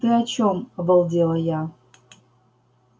ты о чем обалдела я